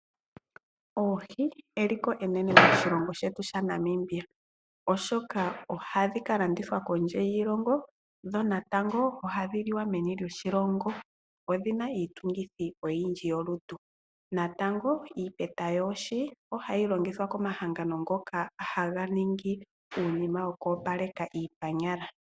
Oohi eliko enene moshilongo shetu sha Namibia, oshoka ohadhi ka landithwa kondje yiilongo, dho natango ohadhi liwa meni loshilongo. Odhina iitungithi oyindji yolutu, natango iipeta yoohi ohayi longithwa komahangano ngoka haga ningi uunima woku opaleka iipanyala.